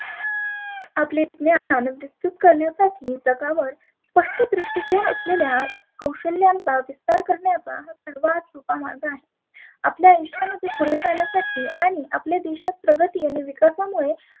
आपले करण्यासाठी जगावर स्पष्ट दृष्टीकोण असलेल्या कौशल्यांचा विस्तार करण्याचा सर्वात सोपा मार्ग आहे. आपल्या आयुष्यामध्ये पुढेजाण्यासाठी आणि आपल्या देशात प्रगती आणि विकासामुळे